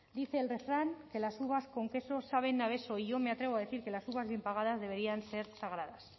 dice el refrán que las uvas con queso saben a beso y yo me atrevo a decir que las uvas bien pagadas deberían ser sagradas